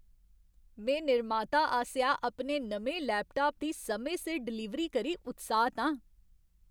में निर्माता आसेआ अपने नमें लैपटाप दी समें सिर डलीवरी करी उत्साहत आं।